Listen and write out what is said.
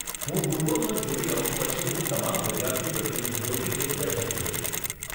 હું પૂર્વનોંધ જોઈ લઉં પછી હું તમામ વિદ્યાર્થી પ્રતિનિધિઓની એક બેઠક યોજીશ.